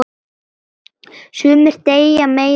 Sumir deyja meira en aðrir.